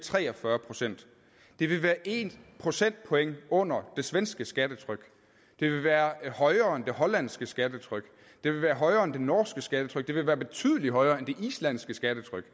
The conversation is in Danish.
tre og fyrre procent det vil være en procentpoint under det svenske skattetryk det vil være højere end det hollandske skattetryk det vil være højere end det norske skattetryk og det vil være betydelig højere end det islandske skattetryk